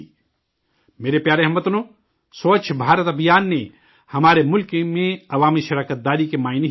میرے پیارے ہم وطنو، سووچھ بھارت ابھیان نے ہمارے ملک میں عوامی حصہ داری کے معنی ہی بدل دیے ہیں